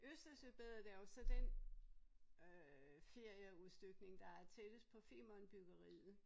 Østersøbadet er jo så den øh ferieudstykning der er tættest på Femern byggeriet